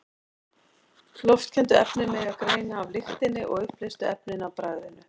Loftkenndu efnin megi greina af lyktinni og uppleystu efnin af bragðinu.